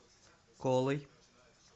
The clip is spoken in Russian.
колой